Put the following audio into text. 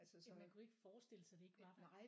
Ja man kunne ikke forestille sig det ikke var der